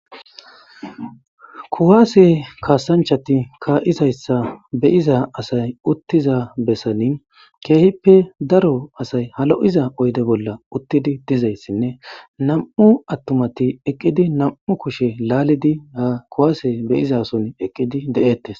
Kuwaase kaasanchati kaa,izayssa beyiza asay uttiza bessani keehippe daro asay halo,iza oyde bolla uttidi dizayssinne nam,u attumati eqqidi nam,u kushe laalidi ha kuwaase beyizason eqqidi de,ettes.